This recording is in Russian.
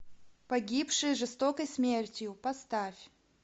погибшие жестокой смертью поставь